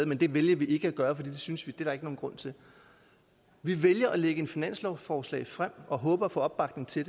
men det vælger vi ikke at gøre for det synes vi ikke der er nogen grund til vi vælger at lægge et finanslovsforslag frem og håber på opbakning til